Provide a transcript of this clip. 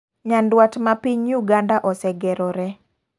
Nyaduat ma piny Uganda osegerore.